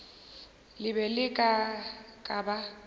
le be le ka ba